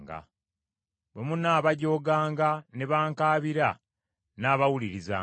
Bwe munaabajooganga ne bankaabira, nnaabawulirizanga.